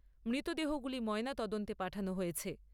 মৃতদেহগুলি ময়না তদন্তে পাঠানো হয়েছে।